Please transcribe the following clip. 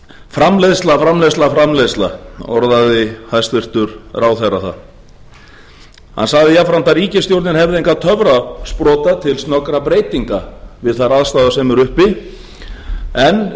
framleiðsla framleiðsla framleiðsla orðaði hæstvirtur ráðherra það hann sagði jafnframt að ríkisstjórnin hefði engan töfrasprota til snöggra breytinga við þær aðstæður sem eru uppi en